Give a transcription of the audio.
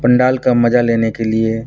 पंडाल का मजा लेने के लिए --